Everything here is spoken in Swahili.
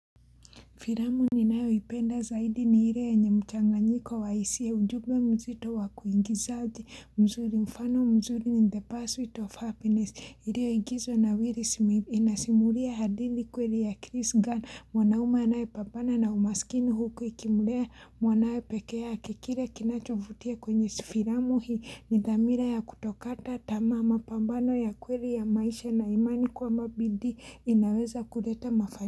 Filamu ni nayo ipenda zaidi ni ile yenye mchanganyiko wa hisia ujumbe mzito wa kuingizaji mzuri mfano mzuri ni the pursuit of happiness ilio ingizwa na willy Smith inasimulia hadithi kweli ya Chris Gunn mwanaume anaye pambana na umaskini huku ikimulea mwanae pekea kile kinacho vutia kwenye si filamu hii ni dhamira ya kutokata tama mapambano ya kweli ya maisha na imani kwama bidii inaweza kuleta mafa.